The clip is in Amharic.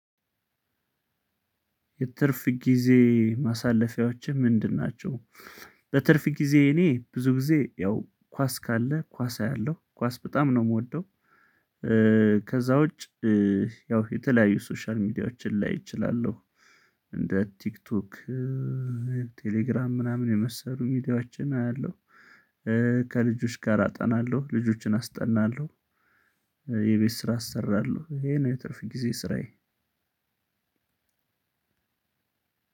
የትርፍ ጊዜ ማሳለፊያዎችህ ምንድን ናቸው? በትርፍ ጊዜ እኔ ብዙ ጊዜ ያው ኳስ ካለ ኳስ አያለሁ ኳስ በጣም ነው ምወደው። ከዛ ውጭ። ያው የተለያዩ ሶሻል ሚዲያዎችን ላይ እችላለሁ እንደ ቲክቶክ ቴሌግራም ምናምን የመሰሉ ሚዲያችን አያለሁ። ከልጆች ጋር አጠናለሁ ልጆችን አስጠናለው። የቤት ስራ አሰራለው ይሄ ነው የትርፍ ግዜ ስራዬ።